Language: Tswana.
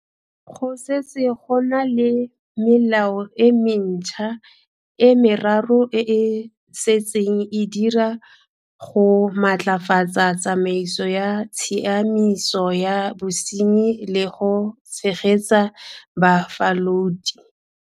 Go setse go na le melao e mentšhwa e meraro e e setseng e dira go maatlafatsa tsamaiso ya tshiamiso ya bosenyi le go tshegetsa bafalodi.